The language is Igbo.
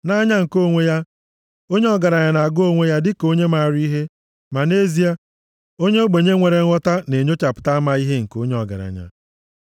Nʼanya nke onwe ya, onye ọgaranya na-agụ onwe ya dịka onye maara ihe, ma nʼezie, onye ogbenye nwere nghọta na-enyochapụta amaghị ihe nke onye ọgaranya.